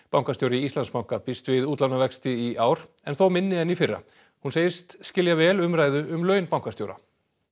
bankastjóri Íslandsbanka býst við útlánavexti í ár en þó minni en í fyrra hún segist skilja vel umræðu um laun bankastjóra